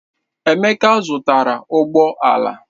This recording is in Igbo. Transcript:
Emeka zụtara ụgbọ ala.